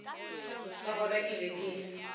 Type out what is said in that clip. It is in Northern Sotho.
ka gona ke be ke